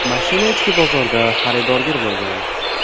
Mashina ichki bozorda xaridorgir bo‘lgan.